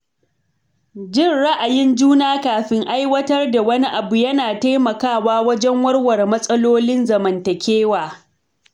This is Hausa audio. Jin ra’ayin juna kafin aiwatar da wani abu yana taimakawa wajen warware matsalolin zamantakewa